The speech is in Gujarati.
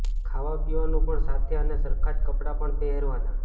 ખાવાપીવાનું પણ સાથે અને સરખા જ કપડાં પણ પહેરવાના